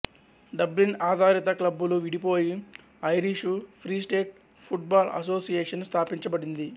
డబ్లిన్ఆధారిత క్లబ్బులు విడిపోయి Irish Free State Football Association స్థాపించబడిండి